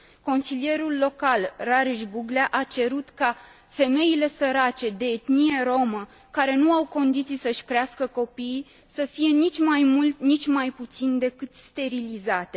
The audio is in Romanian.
Consilierul local Rareș Buglea a cerut ca femeile sărace de etnie romă care nu au condiții să și crească copiii să fie, nici mai mult, nici mai puțin, decât sterilizate.